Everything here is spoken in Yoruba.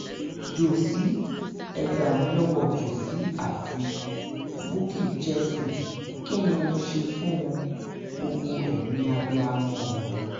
jósì ẹ̀ gbà mí lọ́wọ́ jóṣí àti bukky jesse kí ni mo ṣe fún wọn gbogbo ẹ̀yin abiyamọ ọ̀run